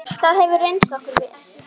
Það hefur reynst okkur vel.